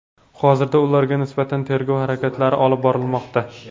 Hozirda ularga nisbatan tergov harakatlari olib borilmoqda.